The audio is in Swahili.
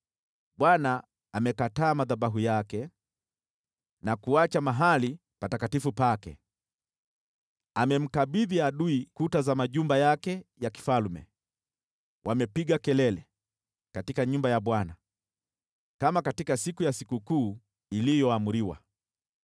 Bwana amekataa madhabahu yake na kuacha mahali patakatifu pake. Amemkabidhi adui kuta za majumba yake ya kifalme; wamepiga kelele katika nyumba ya Bwana kama katika siku ya sikukuu iliyoamriwa.